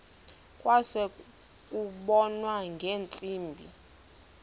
kwase kubonwa ngeentsimbi